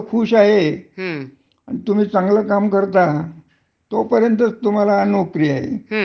हो बरोबर आहे, बरोबर आहे. दुसर्यादिवशी सांगितल्यानंतर त्यांनीही काय करायचं. म्हणजे त्याच्यातही सुरक्षितता अशी नाहीच ए.